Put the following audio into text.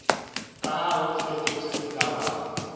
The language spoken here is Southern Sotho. ka ha o fetotswe melawana